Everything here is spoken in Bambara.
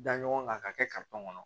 Da ɲɔgɔn kan k'a kɛ kɔnɔ